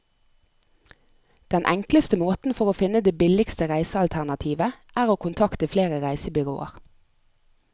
Den enkleste måten for å finne det billigste reisealternativet, er å kontakte flere reisebyråer.